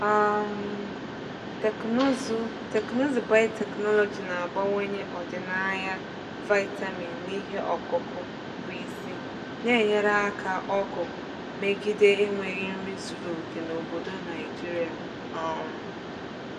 um Teknụzụ Teknụzụ biotechnology na-abawanye ọdịnaya vitamin n’ihe ọkụkụ bụ isi, na-enyere aka ọgụ megide enweghị nri zuru oke n’obodo Naijiria. um